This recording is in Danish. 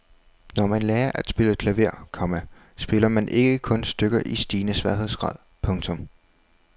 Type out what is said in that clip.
Når man lærer at spille klaver, komma spiller man ikke kun stykker i stigende sværhedsgrad. punktum